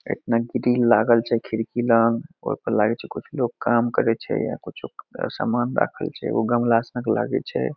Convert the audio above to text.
एकना grill लागल छई खिड़की लंग लाइट कुछ लोग काम करे छे कुछो समान राखल छे गमला संग लागइ छे।